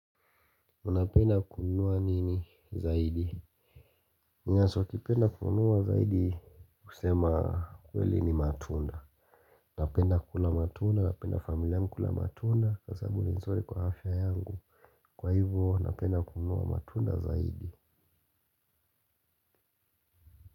Unapenda kununua nini zaidi? Ninacho kipenda kununua zaidi kusema kweli ni matunda. Napenda kula matunda, napenda familia kula matunda, kwa sababu ni nzuri kwa afya yangu. Kwa hivo napenda kununua matunda zaidi.